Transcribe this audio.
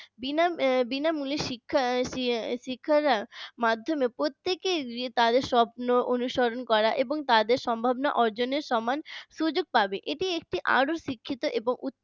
বিনা বিনামূল্যে শিক্ষা শিক্ষারা মাধ্যমে প্রত্যেকের তাদের স্বপ্ন অনুসরণ করা এবং তাদের সম্ভাবনা অর্জনের সমান সুযোগ পাবে এটি একটি শিক্ষিত এবং